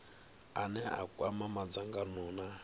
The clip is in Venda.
ane a kwama madzangano na